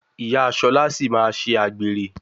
Ìyá Ṣọlá sì máa ṣe àgbèrè.